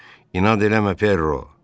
İnad eləmə Perro.